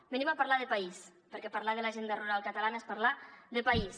venim a parlar de país perquè parlar de l’agenda rural catalana és parlar de país